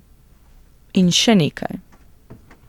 In še nekaj.